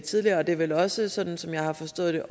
tidligere det er vel også sådan som jeg har forstået det